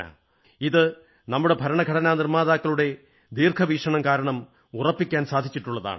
ഇത് നമ്മുടെ ഭരണഘടനാ നിർമ്മാതാക്കളുടെ ദീർഘവീക്ഷണം കാരണം ഉറപ്പിക്കാൻ സാധിച്ചിട്ടുള്ളതാണ്